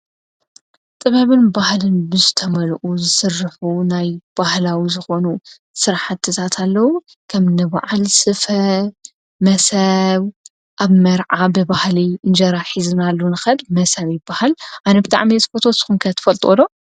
ጥበብን ባሃልን ብዝ ተመልኡ ዝስርሑ ናይ ባህላዊ ዝኾኑ ሠርሓ ትሳት ኣለዉ ኸም ንባዓል ስፈ መሰው ኣብ መርዓ ብባህል እንጀራ ኂዘናሉንኸል መሰብ በሃል ኣነብታ ዕሜ ዝፈቶ ስኹንከት ትፈልጥወሎ?